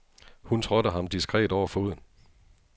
Hun trådte ham diskret over foden.